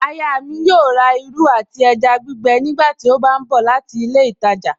Aya mi yóò rà irú àti ẹja gbígbẹ nígbàtí ó bá ń bọ̀ láti ilé ìtajà